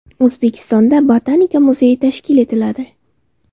O‘zbekistonda Botanika muzeyi tashkil etiladi.